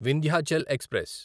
Vindhyachal express